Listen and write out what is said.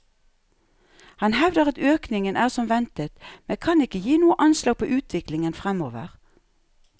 Han hevder at økningen er som ventet, men kan ikke gi noe anslag på utviklingen fremover.